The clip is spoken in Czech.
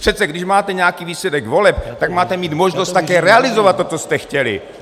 Přece když máte nějaký výsledek voleb, tak máte mít možnost také realizovat to, co jste chtěli!